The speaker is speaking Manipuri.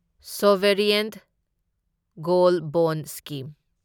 sovereign gold bond scheme